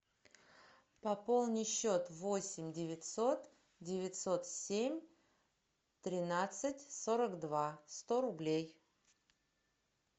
пополни счет восемь девятьсот девятьсот семь тринадцать сорок два сто рублей